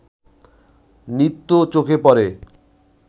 নৃত্যও চোখে পড়ে